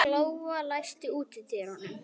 Glóa, læstu útidyrunum.